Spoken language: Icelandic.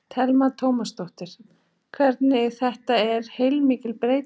Telma Tómasdóttir: Þannig þetta er heilmikil breyting?